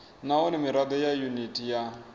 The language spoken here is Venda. nahone mirado ya yuniti ya